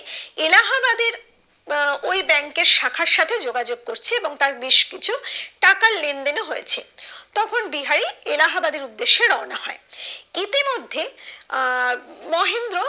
এলাহাবাদের আহ ওই ব্যাঙ্ক এর শাখার সাথে যোগাযোগ করছে এবং তার বেশ কিছু টাকার লেনদেন ও হয়েছে তখন বিহারি এলাহাবাদের উদ্দেশে রওনা হয় ইতিমধ্যে আহ মহেন্দ্র